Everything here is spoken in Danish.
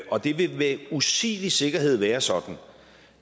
og det vil med usvigelig sikkerhed være sådan